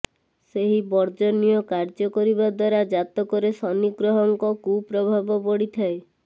ସେହି ବର୍ଜନୀୟ କାର୍ଯ୍ୟ କରିବା ଦ୍ୱାରା ଜାତକରେ ଶନିଗ୍ରହଙ୍କ କୁପ୍ରଭାବ ପଡ଼ିଥାଏ